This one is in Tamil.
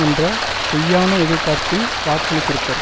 என்ற பொய்யான எதிர்பார்ப்பில் வாக்களித்திருப்பர்